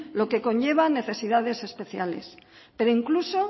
lo que conlleva cuidados especiales pero incluso